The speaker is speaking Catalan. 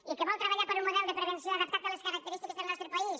i que vol treballar per un model de prevenció adap·tat a les característiques del nostre país